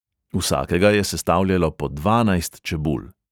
Vsakega je sestavljalo po dvanajst čebul.